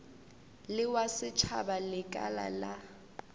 le wa setšhaba lekala la